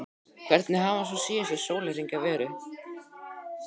Hvernig hafa svo síðustu sólarhringar verið?